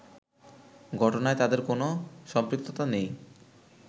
ঘটনায় তাদের কোনো সম্পৃক্ততা নেই